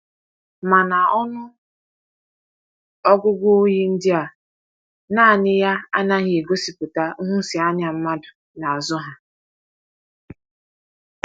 Mana ọnụ ọgụgụ oyi ndị a naanị ya anaghị egosipụta nhụsianya mmadụ n’azụ ha.